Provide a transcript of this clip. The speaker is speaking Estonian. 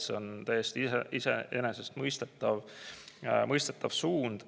See on täiesti iseenesestmõistetav suund.